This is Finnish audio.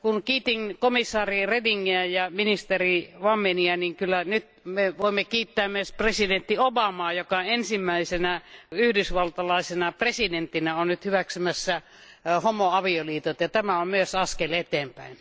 Kiitin aiemmin komissaari Redingiä ja ministeri Wammenia, mutta kyllä me voimme kiittää myös presidentti Obamaa, joka ensimmäisenä Yhdysvaltojen presidenttinä on nyt hyväksymässä homoavioliitot, ja tämä on myös askel eteenpäin.